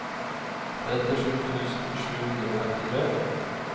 trettisju tusen sju hundre og femtitre